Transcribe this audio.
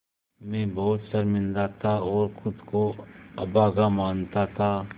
मैं बहुत शर्मिंदा था और ख़ुद को अभागा मानता था